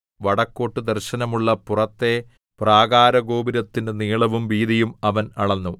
വടക്കോട്ടു ദർശനമുള്ള പുറത്തെ പ്രാകാരഗോപുരത്തിന്റെ നീളവും വീതിയും അവൻ അളന്നു